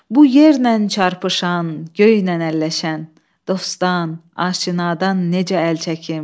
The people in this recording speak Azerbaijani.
Bu yerlə çarpışan, göynən əlləşən dostdan, aşinadan necə əl çəkim?